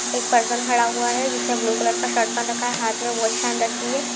एक पर्सन खड़ा हुआ है जिसने ब्लू कलर का शर्ट पहन रखा है| हाथ में वॉच पहन रखी है।